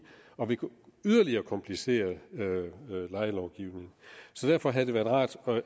og vil yderligere komplicere lejelovgivningen så derfor havde det være rart